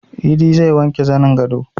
Idi zai wanke zanin gado